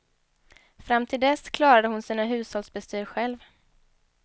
Fram till dess klarade hon sina hushållsbestyr själv.